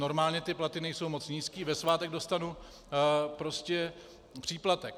Normálně ty platy nejsou moc nízké, ve svátek dostanu prostě příplatek.